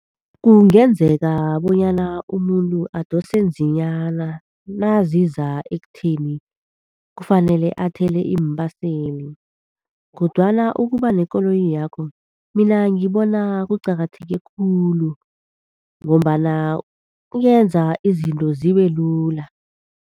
Kungenzeka bonyana umuntu adosenzinyana naziza ekutheni kufanele athele iimbaseli. Kodwana ukuba nekoloyakho mina ngibona kuqakatheke khulu, ngombana kwenza izinto zibelula.